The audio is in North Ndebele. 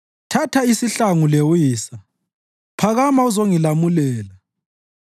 Thatha isihlangu lewisa; phakama uzongilamulela.